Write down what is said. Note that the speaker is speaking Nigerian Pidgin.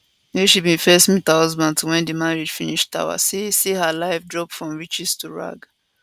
wey she bin first meet her husband to wen di marriage finish tawa say say her life drop from riches to rag